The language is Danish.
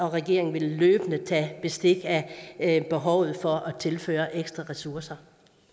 regeringen vil løbende tage bestik af behovet for at tilføre ekstra ressourcer